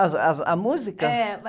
As, as, a música?.